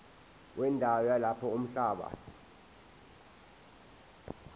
wendawo yalapho umhlaba